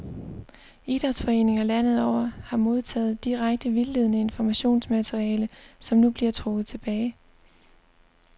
Idrætsforeninger landet over har modtaget direkte vildledende informationsmateriale, som nu bliver trukket tilbage.